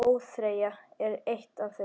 ÓÞREYJA er eitt af þeim.